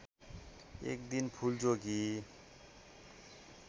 एक दिन फूलचोकी